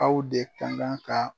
Aw de ka kan ka